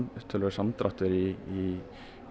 samdráttur í